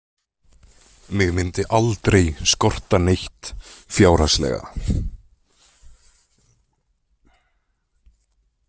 Mig myndi aldrei skorta neitt fjárhagslega.